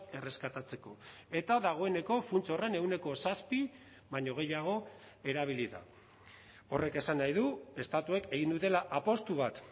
erreskatatzeko eta dagoeneko funts horren ehuneko zazpi baino gehiago erabili da horrek esan nahi du estatuek egin dutela apustu bat